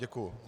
Děkuji.